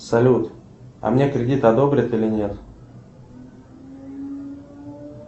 салют а мне кредит одобрят или нет